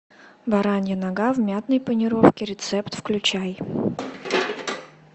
баранья нога в мятной панировке рецепт включай